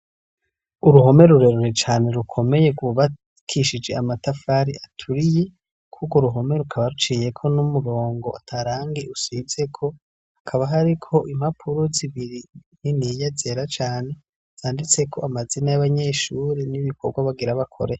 Uruhome rurerure cane rukomeye rwubakishije amatafari aturiye. Kuri urwo ruhome rukaba ruciyeko n'umurongo ata rangi usizeko. Hakaba hariko impapuro zibiri niniya zera cane, zanditseko amazina y'abanyeshuri n'ibikorwa bagira bakore.